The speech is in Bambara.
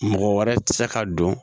Mɔgɔ wɛrɛ tɛ se ka don